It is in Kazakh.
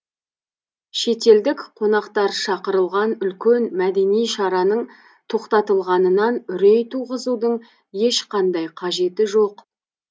шетелдік қонақтар шақырылған үлкен мәдени шараның тоқтатылғанынан үрей туғызудың ешқандай қажеті жоқ